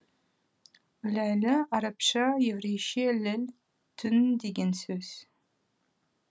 ләйлі арабша еврейше лил түн деген сөз